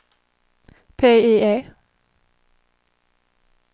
PIE